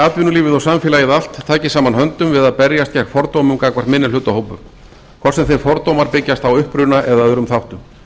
atvinnulífið og samfélagið allt taki saman höndum við að berjast við fordómum gagnvart minnihlutahópum hvort sem þeir fordómar byggjast á uppruna eða öðrum þáttum